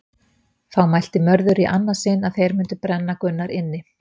Þá mælti Mörður í annað sinn að þeir myndi brenna Gunnar inni.